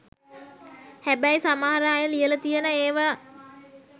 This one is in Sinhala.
හැබැයි සමහර අය ලියල තියන ඒව